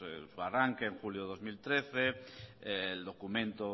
su arranque en julio de dos mil trece el documento